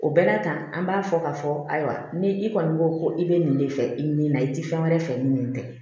O bɛɛ la tan an b'a fɔ k'a fɔ ayiwa ni i kɔni ko ko i bɛ nin de fɛ i ni na i tɛ fɛn wɛrɛ fɛ ni nin tɛ